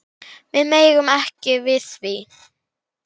Við megum ekki við því.